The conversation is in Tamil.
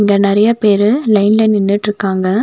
இங்க நெறைய பேரு லைன்ல நின்னுட்ருக்காங்க.